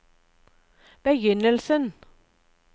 begynnelsen